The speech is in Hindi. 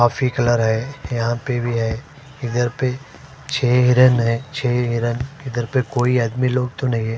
कॉफ़ी कलर है यहाँ पर भी है इधर पर छे हिरन है छे हिरन इधर पर कोई आदमी लोग तो नहीं है।